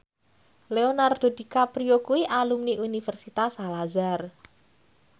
Leonardo DiCaprio kuwi alumni Universitas Al Azhar